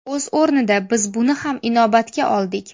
O‘z o‘rnida biz buni ham inobatga oldik.